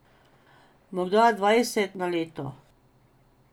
Morda dvajset na leto.